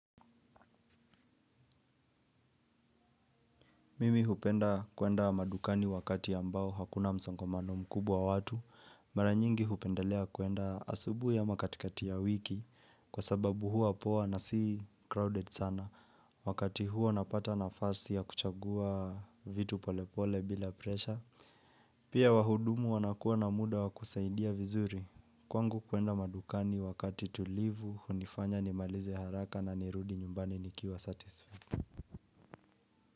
Mimi hupenda kuenda madukani wakati ambao hakuna msongamano mkubwa wa watu, mara nyingi hupendelea kuenda asubuhi ama katikati ya wiki kwa sababu huwa poa na si crowded sana. Wakati huo napata nafasi ya kuchagua vitu pole pole bila presha, pia wahudumu wanakuwa na muda wa kusaidia vizuri, kwangu kuenda madukani wakati tulivu hunifanya nimalize haraka na nirudi nyumbani nikiwa satisfied.